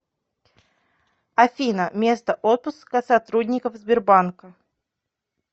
афина место отпуска сотрудников сбербанка